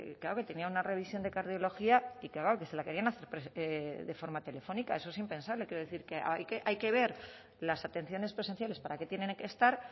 que tenía una revisión de cardiología y que vamos que se la querían hacer de forma telefónica eso es impensable quiero decir que hay que ver las atenciones presenciales para qué tienen que estar